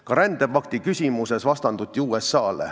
Ka rändepakti küsimuses vastanduti USA-le.